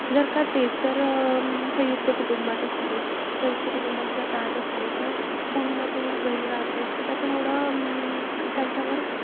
जर का तेचं जर सयुंक्त कुटुंबात असले सयुंक्त कुटुंबात जर राहत असले. तर कोणी ना कोणी घरी राहतचं त त्याच्यामुळे अं त्याच्यावर,